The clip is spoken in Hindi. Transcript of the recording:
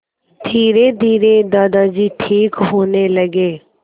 धीरेधीरे दादाजी ठीक होने लगे